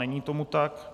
Není tomu tak.